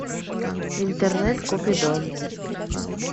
интернет купидон